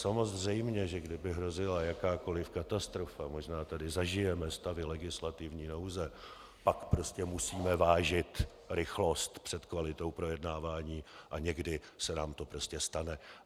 Samozřejmě, že kdyby hrozila jakákoli katastrofa - možná tady zažijeme stavy legislativní nouze, pak prostě musíme vážit rychlost před kvalitou projednávání a někdy se nám to prostě stane.